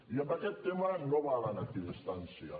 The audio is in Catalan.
i en aquest tema no valen equidistàncies